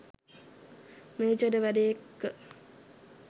මේ ජඩ වැඩේ එක්ක.